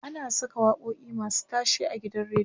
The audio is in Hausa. ana Saka waƙoƙi masu tashe a gidan radio